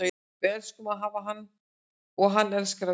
Við elskum að hafa hann og hann elskar að vera hér.